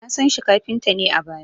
Na san shi kafinta ne a baya